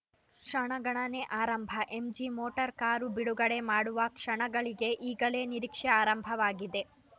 ಕ್ಷಣಗಣನೆ ಆರಂಭ MG motor car ಬಿಡುಗಡೆ ಮಾಡುವ ಕ್ಷಣಗಳಿಗೆ ಈಗಲೇ ನಿರೀಕ್ಷೆ ಆರಂಭವಾಗಿದೆ